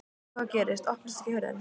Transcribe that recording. En hvað gerist. opnast ekki hurðin!